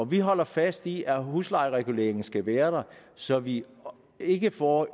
vi holder fast i at huslejereguleringen skal være der så vi ikke får